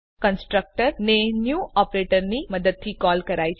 constructor ને new ઓપરેટરની મદદથી કોલ કરાય છે